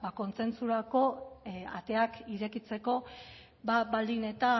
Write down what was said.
kontsentsurako ateak irekitzeko baldin eta